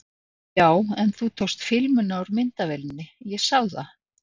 Já, en þú tókst filmuna úr myndavélinni, ég sá það!